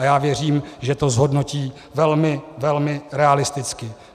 A já věřím, že to zhodnotí velmi, velmi realisticky.